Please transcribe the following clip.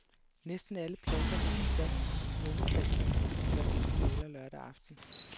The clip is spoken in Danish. Næsten alle pladser var besat på svømmestadion til de første finaler lørdag aften.